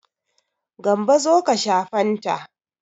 Gambo zo ka sha fanta.